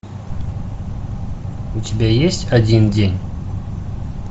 у тебя есть один день